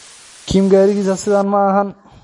Kim garigisa sidhas maaxan.